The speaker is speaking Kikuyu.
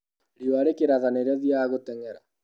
Riũa rĩkĩratha nĩrio thiaga gũtengera.